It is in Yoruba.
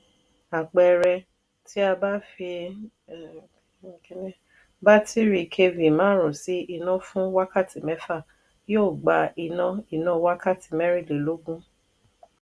àpẹẹrẹ ti a bá fi batiri kv márùn sí iná fún wákàtí mẹfa yóò gbà iná iná wakati merinlelogun.